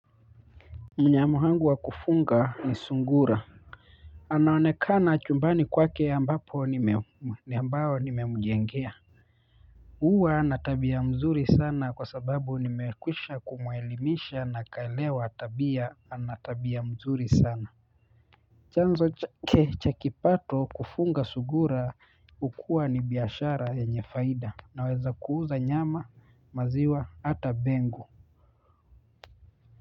Mnyama wangu wa kufunga ni sungura anaonekana chumbani kwake ambapo ni ambayo nimemjengea huwa na tabia mzuri sana kwa sababu nimekwisha kumuelimisha na akaelewa tabia ana tabia mzuri sana chanzo chakipato kufunga sungura hukua ni biashara ye nyefaida na weza kuuza nyama maziwa ata bengu.